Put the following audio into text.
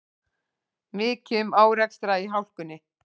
Mikið um árekstra í hálkunni